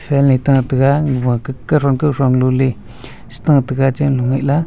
fan ye tataga ag wa kah kauthon kauthon galo ley chi tataga chemlo ngaih la.